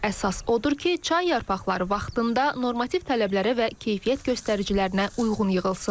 Əsas odur ki, çay yarpaqları vaxtında normativ tələblərə və keyfiyyət göstəricilərinə uyğun yığılsın.